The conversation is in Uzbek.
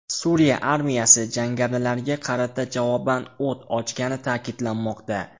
Suriya armiyasi jangarilarga qarata javoban o‘t ochgani ta’kidlanmoqda.